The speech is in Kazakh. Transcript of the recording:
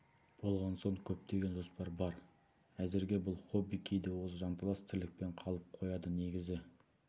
болған соң көптеген жоспар бар әзірге бұл хобби кейде осы жанталас тірлікпен қалып қояды негізгі